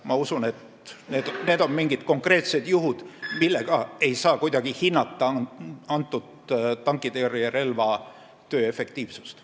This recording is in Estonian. Ma usun, et need on mingid konkreetsed juhud, mille põhjal ei saa kuidagi hinnata kõnealuse tankitõrjerelva töö efektiivsust.